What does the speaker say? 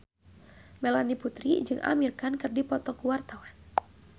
Melanie Putri jeung Amir Khan keur dipoto ku wartawan